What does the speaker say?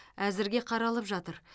әзірге қаралып жатыр